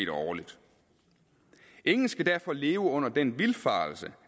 årligt ingen skal derfor leve under den vildfarelse